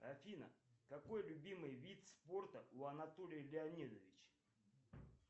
афина какой любимый вид спорта у анатолия леонидовича